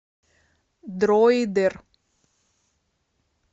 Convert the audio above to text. дроидер